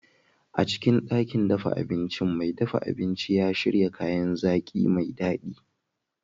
A cikin ɗakin dafa abincin, mai dafa abinci ya shirya kayan zaki mai daɗi.